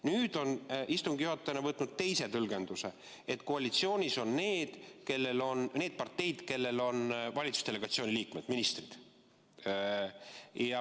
Nüüd on istungi juhataja võtnud teise tõlgenduse: koalitsioonis on need parteid, kellel on valitsusdelegatsiooni liikmed, ministrid.